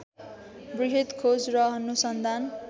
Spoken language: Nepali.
बृहत् खोज र अनुसन्धान